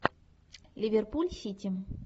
ливерпуль сити